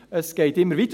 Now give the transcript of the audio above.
Es geht immer weiter.